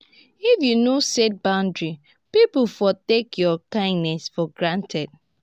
if yu no set boundaries pipo for take yur kindness for granted.